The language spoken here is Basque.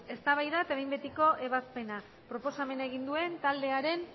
eztabaida eta behin betiko ebazpena proposamena egin duen taldearen